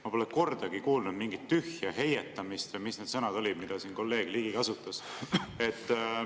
Ma pole kordagi kuulnud mingit tühja heietamist või mis need sõnad olidki, mida kolleeg Ligi kasutas.